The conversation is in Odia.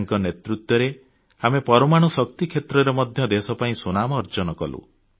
ତାଙ୍କ ନେତୃତ୍ୱରେ ଆମେ ପରମାଣୁ ଶକ୍ତି କ୍ଷେତ୍ରରେ ମଧ୍ୟ ଦେଶ ପାଇଁ ସୁନାମ ଅର୍ଜନ କଲୁ